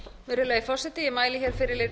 virðulegi forseti ég mæli hér fyrir